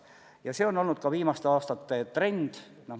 Ja see on olnud ka viimaste aastate trend.